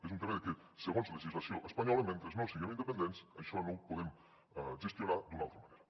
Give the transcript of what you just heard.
és un tema de que segons legislació espanyola mentre no siguem independents això no ho podem gestionar d’una altra manera